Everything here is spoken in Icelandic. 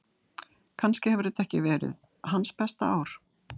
Kannski hefur þetta ekki verið hans besta ár.